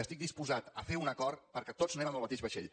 estic disposat a fer un acord perquè tots anem en el mateix vaixell